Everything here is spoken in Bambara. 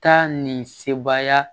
Taa nin sebaya